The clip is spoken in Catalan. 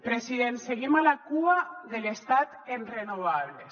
president seguim a la cua de l’estat en renovables